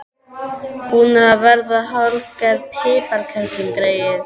Hún er að verða hálfgerð piparkerling, greyið.